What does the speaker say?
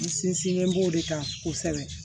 N sinsinlen b'o de kan kosɛbɛ